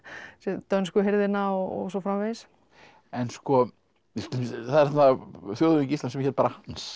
dönsku hirðina og svo framvegis en það er þarna þjóðhöfðingi Íslands sem hét bara Hans